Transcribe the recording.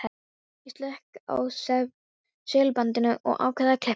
Ég slekk á segulbandinu og ákveð að klippa þær.